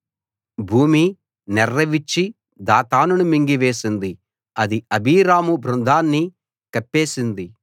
భూమి నెర్రె విచ్చి దాతానును మింగేసింది అది అబీరాము బృందాన్ని కప్పేసింది